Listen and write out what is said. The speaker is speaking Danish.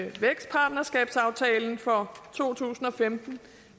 vækstpartnerskabsaftalen for to tusind og femten